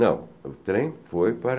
Não, o trem foi para